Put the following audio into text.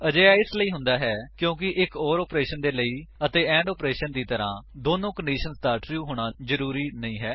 ਅਜਿਹਾ ਇਸਲਈ ਹੁੰਦਾ ਹੈ ਕਿਉਂਕਿ ਇੱਕ ਓਰ ਆਪਰੇਸ਼ਨ ਦੇ ਲਈ ਐਂਡ ਆਪਰੇਸ਼ਨ ਦੀ ਤਰ੍ਹਾਂ ਦੋਨਾਂ ਕੰਡੀਸ਼ੰਸ ਦਾ ਟਰੂ ਹੋਣਾ ਜ਼ਰੂਰੀ ਨਹੀਂ ਹੈ